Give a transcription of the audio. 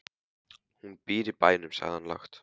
Hún býr í bænum, sagði hann lágt.